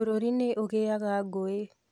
bũrũri nĩ ũgĩaga ngũĩ